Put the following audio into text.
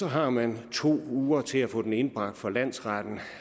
har man to uger til at få den indbragt for landsretten